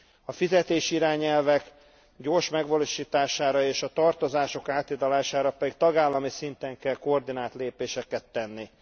A fizetési irányelvek gyors megvalósításra és a tartozások áthidalására pedig tagállami szinten kell koordinált lépéseket tenni.